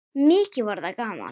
Mikið var það gaman.